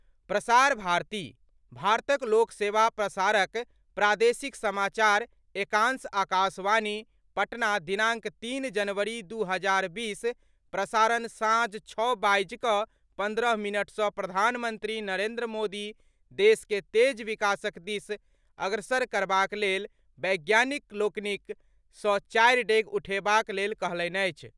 प्रसार भारती, भारतक लोक सेवा प्रसारक प्रादेशिक समाचार एकांश आकाशवाणी, पटना दिनाङ्क तीन जनवरी दू हजार बीस, प्रसारण साँझ छओ बाजि कऽ पन्द्रह मिनट सँ प्रधानमंत्री नरेन्द्र मोदी देश के तेज विकासक दिस अग्रसर करबाक लेल वैज्ञानिक लोकनिक सँ चारि डेग उठेबाक लेल कहलनि अछि।